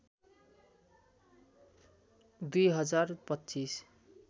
२ हजार २५